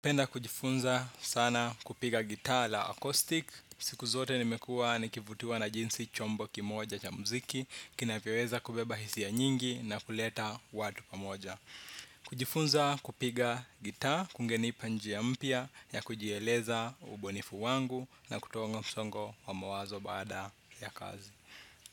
Napenda kujifunza sana kupiga gitaa la acoustic. Siku zote nimekuwa nikivutiwa na jinsi chombo kimoja cha mziki kinavyoweza kubeba hisia nyingi na kuleta watu pamoja. Kujifunza kupiga gitaa kungenipa njia mpya ya kujieleza ubunifu wangu na kutoa msongo wa mawazo baada ya kazi.